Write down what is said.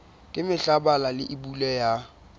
ka mehla bala leibole ya